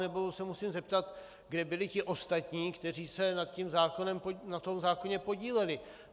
Nebo se musím zeptat, kde byli ti ostatní, kteří se na tom zákoně podíleli.